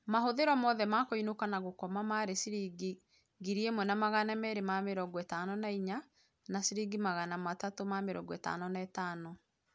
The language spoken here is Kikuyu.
Mahũthĩro mothe ma kũinũka na gũkoma marĩ ciringi 1254 na 355